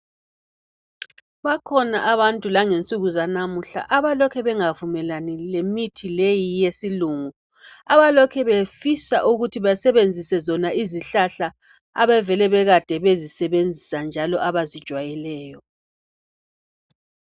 Bakhona abantu langensuku zalamuhla abalokhe bengavumelani lemithi leyi yesilungu, abalokhe befisa ukuthi basebenzise zona izihlahla abavele bekade bezisebenzisa njalo abazijwayeleyo.